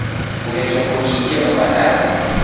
Kũgeria kũhingia mabataro.